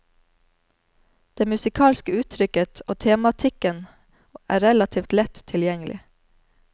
Det musikalske uttrykket og tematikken er relativt lett tilgjengelig.